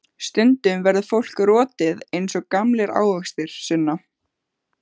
Stundum verður fólk rotið eins og gamlir ávextir, Sunna.